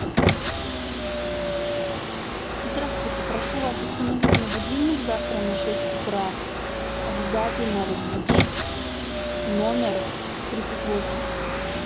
здравствуйте прошу вас установить мне будильник завтра на шесть утра обязательно разбудить номер тридцать восемь